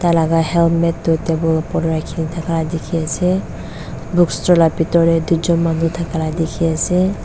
tai laga helmet tu table opor de rakhi thaka dikhi ase bookstore la bitor de duijun manu thaka la dikhi ase.